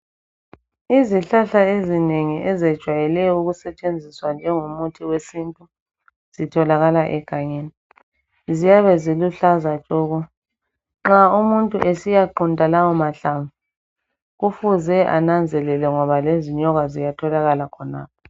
Izihlahla ezinengi ezejwayele ukusetshenziswa njengomuthi wesintu zitholakala egangeni. Ziyabe ziluhlaza tshoko. Nxa umuntu esiyaqunta lawo mahlamvu kufuze ananzelele ngoba lezinyoka ziyatholakala khonapho.